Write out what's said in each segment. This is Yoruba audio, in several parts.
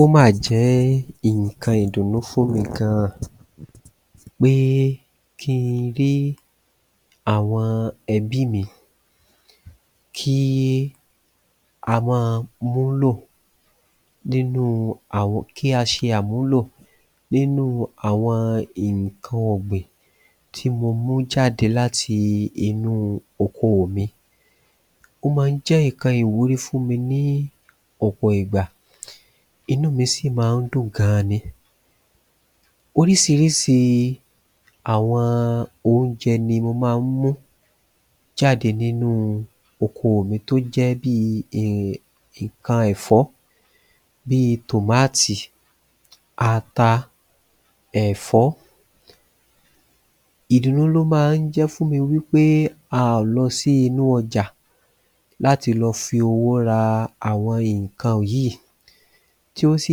Ó mà jẹ́ nǹkan ìdùnnú fún mi gan pé kí n rí àwọn ẹbí mi kí a máa múlò nínúu àwọn kí a ṣe àmúlò nínúu àwọn nǹkan ọ̀gbìn tí mo mú jáde láti inúu okoò mi ó ma ń jẹ́ nǹkan ìwúrí fún mi ní ọ̀pọ̀ ìgbà inú mi sì ma ń dùn gan ni Oríṣiríṣi àwọn oúnjẹ ni mo máa ń mú jáde nínúu okoò mi tó jẹ́ bíi um nǹkan ẹ̀fọ́ bíi tòmáàtì ata ẹ̀fọ́ Ìdùnnú ló ma ń jẹ́ fún mi wí pé a ò lọ sí inú ọjà láti lọ fi owó ra àwọn nǹkan yìí tí ó sì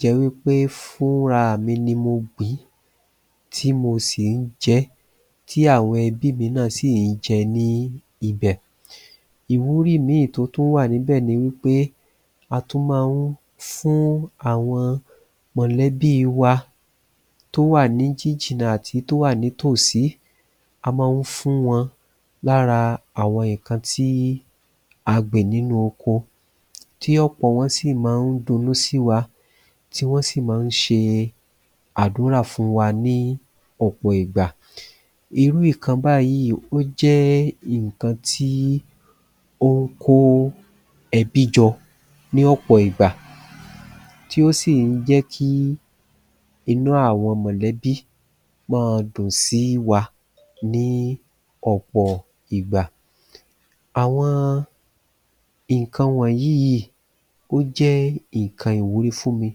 jẹ wí pé fún raàmi ni mo gbìn-ín tí mo sì ń jẹ ẹ́ tí àwọn ẹbí mi náà sì ń jẹ ní ibẹ̀ Ìwúrí ìmíì tí ó tún wà níbẹ̀ ni wí pé a tún ma ń fún àwọn mọ̀lẹ́bíi wa tó wà jìjìnnà àti tó wà ní tòsí a má ń fún wọn lára àwọn nǹkan tí a gbìn nínú oko tí ọ̀pọ̀ wọn sì má ń dunnú sí wa tí wọ́n sì má ń ṣe àdúrà fún wa ní ọ̀pọ̀ ìgbà Irú nǹkan báyìí ó jẹ́ nǹkan tí ón kó ẹbí jọ ní ọ̀pọ̀ ìgbà tí ó sì ń jẹ́ kí inú àwọn mọ̀lẹ́bíi má a dùn sí wa ní ọ̀pọ̀ ìgbà Àwọn nǹkan wọ̀nyí yìí yì ó jẹ́ nǹkan ìwúrí fún mi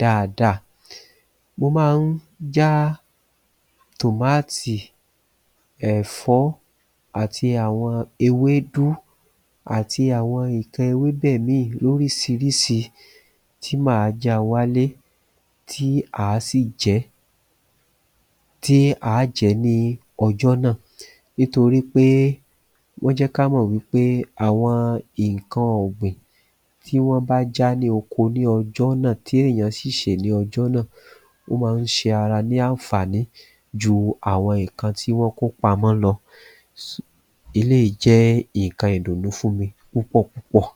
dáadáa mo má a ń já tòmáàtì ẹ̀fọ́ àti àwọn ewédú àti àwọn nǹkan ewébẹ̀ míì lóríṣiríṣi tí mà á ja wálé tí à á sì jẹ́ tí a á jẹ ní ọjọ́ náà nítorí pé wọ́n jẹ́ ka mọ̀ wí pé àwọn nǹkan ọ̀gbìn tí wọ́n bá já ní oko ní ọjọ́ náà tí èèyàn sì sè ní ọjọ́ náà ó ma ń ṣe ara ní ànfàní jú àwọn nǹkan tí wọ́n kó pamọ́ lọ eléyìí jẹ́ nǹkan ìdùnnú fún mi púpọ̀ púpọ̀